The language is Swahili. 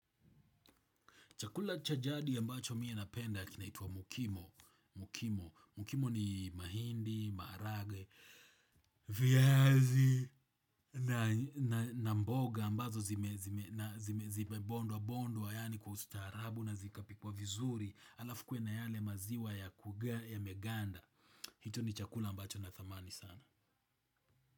Chakula cha jadi ya ambacho mimi napenda kinaitwa mokimo. Mukimo ni mahindi, maharagwe, viazi na mboga ambazo zimebondwa bondwa yani kwa ustaharabu na zikapikwa vizuri alafu kue na yale maziwa ya kuganda ya meganda. Hicho ni chakula mbacho na tamani sana.